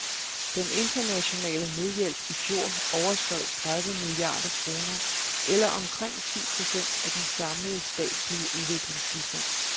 Den internationale nødhjælp i fjor overskred tredive milliarder kroner eller omkring ti procent af den samlede statslige udviklingsbistand.